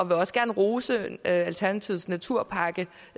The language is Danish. vil også gerne rose alternativets naturpakke